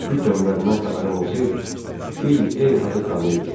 Kiçik gəmilərindən xəbərim olsaydı, Fil Eyhartı tanıyırdım.